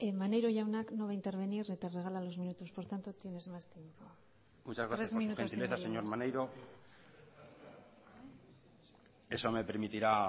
maneiro jaunak no va intervenir te regala los minutos por tanto tienes más tiempo tres minutos y medio muchas gracias por su gentileza señor maneiro eso me permitirá